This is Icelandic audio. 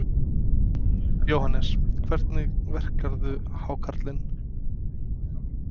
Jóhannes: Hvernig verkarðu hákarlinn?